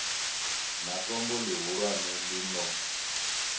na tombo ḽihulwane ḽi no